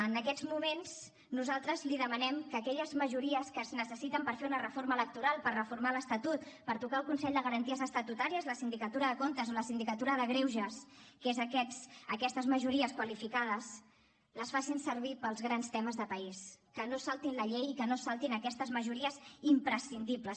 en aquests moments nosaltres li demanem que aquelles majories que es necessiten per fer una reforma electoral per reformar l’estatut per tocar el consell de garanties estatutàries la sindicatura de comptes o la sindicatura de greuges que són aquestes majories qualificades les facin servir pels grans temes de país que no es saltin la llei i que no es saltin aquestes majories imprescindibles